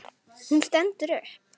Hún stendur upp.